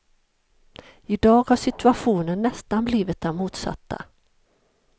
Idag har situationen nästan blivit den motsatta.